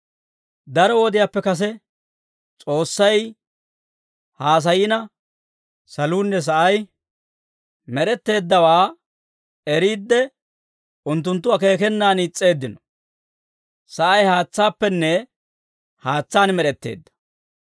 Daro wodiyaappe kase S'oossay haasayina, saluunne sa'ay med'etteeddawaa eriide, unttunttu akeekenaan is's'eeddino. Sa'ay haatsaappenne haatsaan med'etteedda.